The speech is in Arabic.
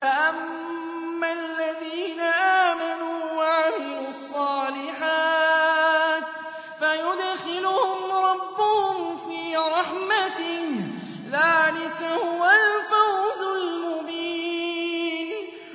فَأَمَّا الَّذِينَ آمَنُوا وَعَمِلُوا الصَّالِحَاتِ فَيُدْخِلُهُمْ رَبُّهُمْ فِي رَحْمَتِهِ ۚ ذَٰلِكَ هُوَ الْفَوْزُ الْمُبِينُ